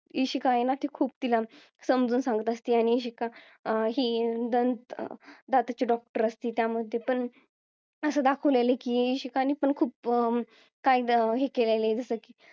इशिका आहे ना ती खूप तिला समजून सांगत असती आणि इशिका अं ही दंत अं दाताची डॉक्टर असती त्यामध्ये पण असं दाखवलेला आहे की इशिकानी पण खूप काही अं काय हे केलेलं आहे जसं की